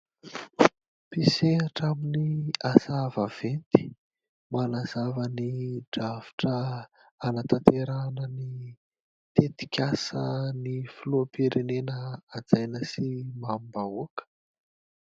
Mpisehatra amin'ny asa vaventy manazava ny drafitra hanatanterahana ny tetikasan' ny filoham-pirenena hajaina sy mamim-bahoaka.